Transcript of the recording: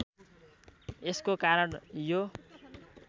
यसको कारण यो